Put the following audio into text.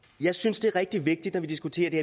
jeg synes det er rigtig vigtigt når vi diskuterer det